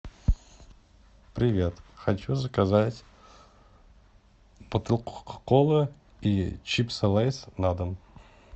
привет хочу заказать бутылку кока колы и чипсы лейс на дом